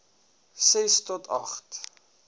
ses to agt